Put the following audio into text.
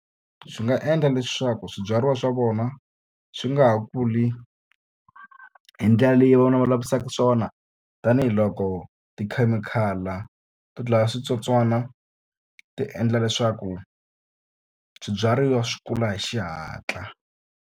Swi nga endla leswaku swibyariwa swa vona swi nga ha kuli hi ndlela leyi vona va lavisaka swona. Tanihiloko tikhemikhali to dlaya switsotswana ti endla leswaku swibyariwa swi kula hi xihatla.